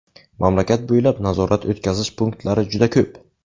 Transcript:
Mamlakat bo‘ylab nazorat-o‘tkazish punktlari juda ko‘p.